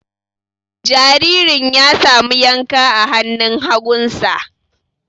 Jaririn ya samu yanka a hannun hagunsa.